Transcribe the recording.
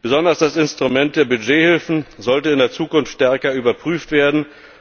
Besonders das Instrument der Budgethilfen sollte in der Zukunft stärker überprüft